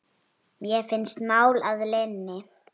Mér finnst mál að linni.